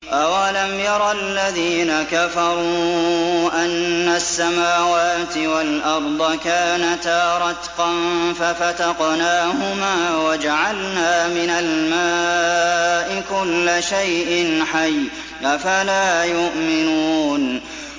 أَوَلَمْ يَرَ الَّذِينَ كَفَرُوا أَنَّ السَّمَاوَاتِ وَالْأَرْضَ كَانَتَا رَتْقًا فَفَتَقْنَاهُمَا ۖ وَجَعَلْنَا مِنَ الْمَاءِ كُلَّ شَيْءٍ حَيٍّ ۖ أَفَلَا يُؤْمِنُونَ